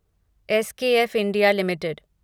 SKF India limited